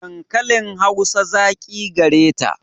Dankalin Hausa zaƙi gareta.